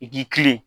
I k'i kilen